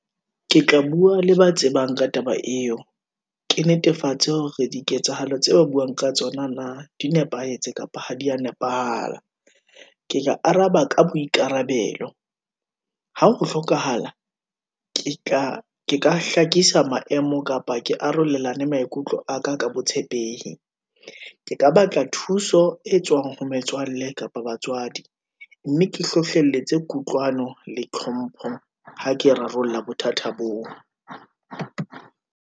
Ke tla bua le ba tsebang ka taba eo, ke netefatse hore diketsahalo tse ba buang ka tsona na, di nepahetse kapa ha di ya nepahala. ke ya araba ka boikarabelo, ha ho hlokahala, ke ka hlakisa maemo, kapa ke arolelana maikutlo aka ka botshepehi, ke ka batla thuso e tswang ho metswalle kapa batswadi. Mme ke hlohlelletsa kutlwano le tlhompho, ha ke rarolla bothata boo.